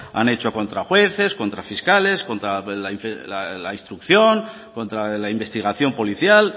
han hecho contra jueces contra fiscales contra la instrucción contra la investigación policial